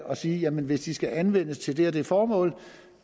og sige at jamen hvis de skal anvendes til det og det formål